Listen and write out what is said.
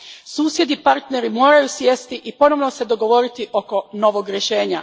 Susjedi i partneri moraju sjesti i ponovno se dogovoriti oko novog rješenja.